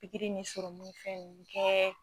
Pikiri ni ni fɛn nunnu kɛ